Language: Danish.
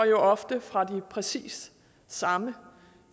jo ofte fra de præcis samme